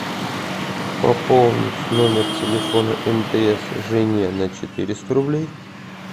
пополнить номер телефона мтс жене на четыреста рублей